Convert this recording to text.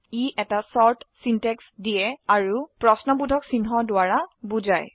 ই এটা ছোট সিনট্যাক্স দিয়ে আৰু প্ৰশ্নবোধক চিহ্ন দ্বাৰা বোঝায়